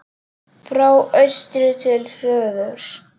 Frá austri til suðurs